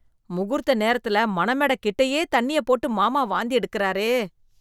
முகூர்த்த நேரத்தில மணமேடை கிட்டயே தண்ணிய போட்டு மாமா வாந்தி எடுக்குறாரே.